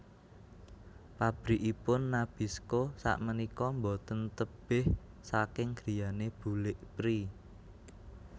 Pabrikipun Nabisco sakmenika mboten tebeh saking griyane bulik Pri